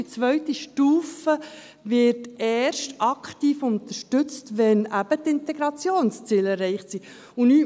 Die zweite Stufe wird eben erst aktiv unterstützt, wenn die Integrationsziele erreicht sind.